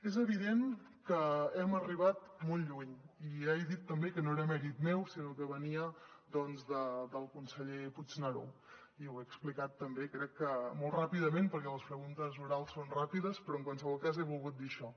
és evident que hem arribat molt lluny i ja he dit també que no era mèrit meu sinó que venia del conseller puigneró i ho he explicat també crec que molt ràpidament perquè les preguntes orals són ràpides però en qualsevol cas he volgut dir això